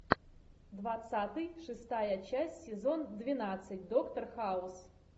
двадцатый шестая часть сезон двенадцать доктор хаус